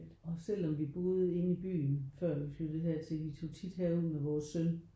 Og selv om vi boede inde i byen før vi flyttede hertil vi tog tit herud med vores søn